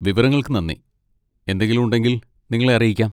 വിവരങ്ങൾക്ക് നന്ദി, എന്തെങ്കിലും ഉണ്ടെങ്കിൽ നിങ്ങളെ അറിയിക്കാം.